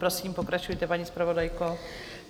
Prosím, pokračujte, paní zpravodajko.